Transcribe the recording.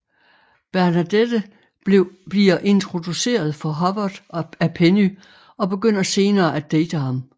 Bernadette bliver introduceret for Howard af Penny og begynder senere at date ham